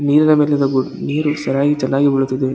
ನೀರಿನ ಮೇಲಿರೋದು ನೀರು ಸರಾಗಿ ಚನ್ನಾಗಿ ಬೀಳುತ್ತದೆ.